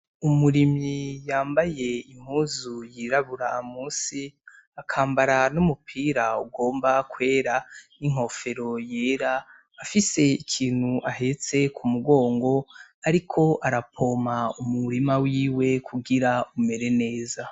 Umurimyi yambaye impuzu y'irabura munsi akambara n'umupira ugomba kwera n'inkofero yera, afise ikintu ahetse k'umugongo ariko aravomera umurima wiwe kugira umere neza.